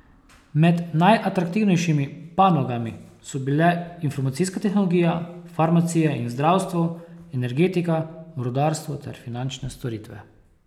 Med najaktivnejšimi panogami so bile informacijska tehnologija, farmacija in zdravstvo, energetika, rudarstvo ter finančne storitve.